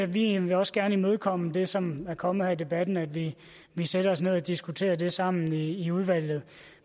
vi vil også gerne imødekomme det som er kommet frem her i debatten at vi sætter os ned og diskuterer det sammen i udvalget